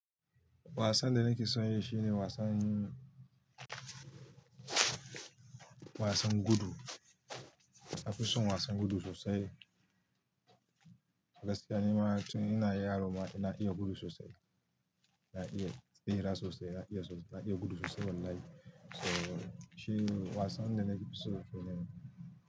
Wasan da na ke so ya shi ne wasan, wasan gudu. Na fi son wasan gudu sosai. A gaskiya, ni ma na tun ina yaro ma, ina iya gudu sosai. Na iya tserasosai, na iya gudu sosai wallahi. So shi wasan da na fi so kenan.